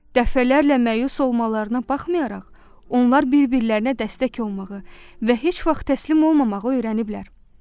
Dəfələrlə məyus olmalarına baxmayaraq, onlar bir-birlərinə dəstək olmağı və heç vaxt təslim olmamağı öyrəniblər.